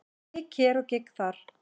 Gigg hér og gigg þar.